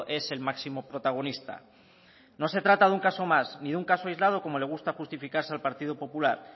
es el máximo protagonista no se trata de un caso más ni de un caso aislado como le gusta justificarse al partido popular